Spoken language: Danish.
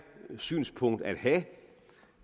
synspunkt at have